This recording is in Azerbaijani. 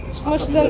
Çıxmışdı.